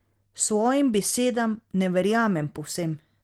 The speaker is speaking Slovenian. Svojim besedam ne verjamem povsem.